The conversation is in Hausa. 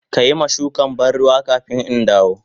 Ka yi ma shukan ban ruwa kafin in dawo.